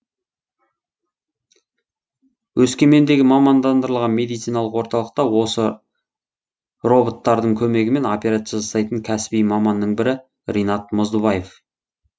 өскемендегі мамандандырылған медициналық орталықта осы роботтардың көмегімен операция жасайтын кәсіби маманның бірі ринат мұздыбаев